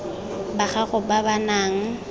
ba gago ba ba nang